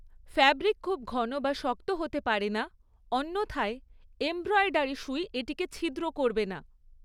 Fabric খুব ঘন বা শক্ত হতে পারে না, অন্যথায় এমব্রয়ডারি সুই এটিকে ছিদ্র করবে না।